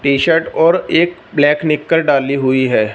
T shirt और एक black निक्कर डाली हुई है।